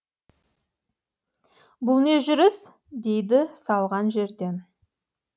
бұл не жүріс дейді салған жерден